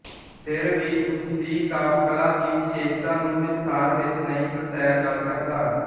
ਫਿਰ ਵੀ ਉਸਦੀ ਕਾਵਿਕਲਾ ਦੀ ਵਿਸ਼ੇਸ਼ਤਾ ਨੂੰ ਵਿਸਥਾਰ ਵਿੱਚ ਨਹੀਂ ਦਰਸਾਇਆ ਜਾ ਸਕਦਾ